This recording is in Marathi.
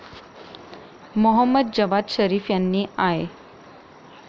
मोहम्मद जवाद झरीफ यांनी आय.